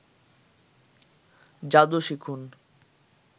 যাদু শিখুন